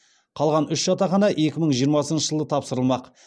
қалған үш жатақхана екі мың жиырмасыншы жылы тапсырыламақ